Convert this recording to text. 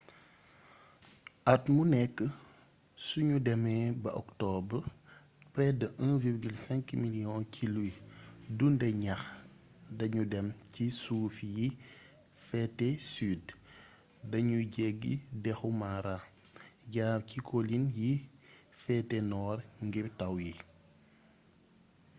at mu nekk suñu demee ba octobre près de 1,5 million ci luy dundee ñax dañu dem ci suufi yi féte sud dañuy jéggi dexu mara jaar ci colline yi féete nord ngir taw yi